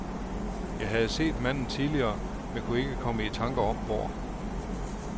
Jeg havde set manden tidligere, men kunne ikke komme i tanker om hvor.